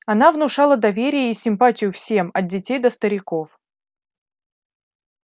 она внушала доверие и симпатию всем от детей до стариков